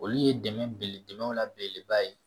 Olu ye dɛmɛ belebele la belebeleba ye